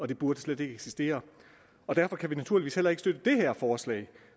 det burde slet ikke eksistere og derfor kan vi naturligvis heller ikke støtte det forslag